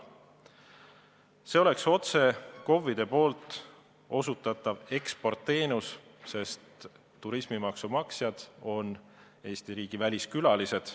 See oleks otse KOV-ide osutatav eksportteenus, sest turismimaksu maksjad on Eesti riigi väliskülalised.